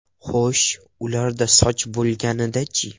Xo‘sh, ularda soch bo‘lganida-chi?